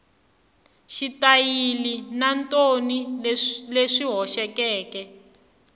xitayili na thoni leswi hoxekeke